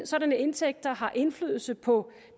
sådanne indtægter har indflydelse på